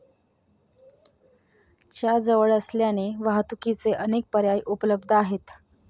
च्या जवळ असल्याने वाहतुकीचे अनेक पर्याय उपलब्ध आहेत.